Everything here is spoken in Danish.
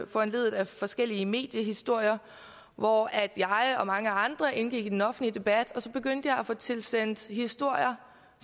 foranlediget af forskellige mediehistorier hvor jeg og mange andre indgik i den offentlige debat og så begyndte jeg at få tilsendt historier